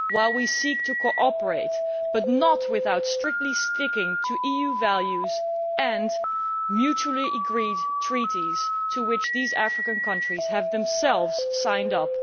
We seek to cooperate, but not without sticking strictly to EU values and mutually agreed treaties to which these African countries have themselves signed up.